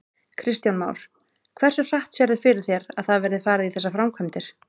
Kristján Már: Hversu hratt sérðu fyrir þér að það verði farið í þessar framkvæmdir?